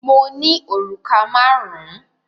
Mo ní òrùka márùn-ún.